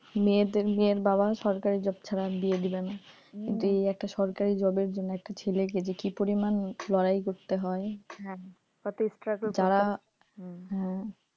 মেয়েদের মেয়ের বাবা সরকারি job ছাড়া বিয়ে দেবে না দিয়ে একটা সরকারি জব জন্য একটা ছেলেকে যে কি পরিমাণ লড়াই করতে হয়